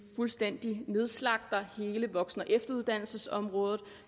fuldstændig nedslagter hele voksen og efteruddannelsesområdet